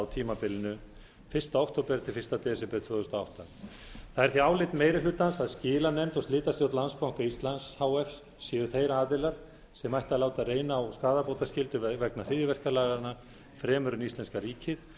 á tímabilinu fyrsta október til fyrsta desember tvö þúsund og átta það er því álit meiri hlutans að skilanefnd og slitastjórn landsbanka íslands h f séu þeir aðilar sem ættu að láta reyna á skaðabótaskyldu vegna hryðjuverkalaganna fremur en íslenska ríkið